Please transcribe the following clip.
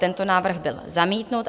Tento návrh byl zamítnut.